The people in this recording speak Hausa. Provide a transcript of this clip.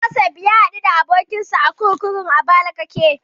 Josef ya haɗu da abokinsa a kurkukun Abakalake.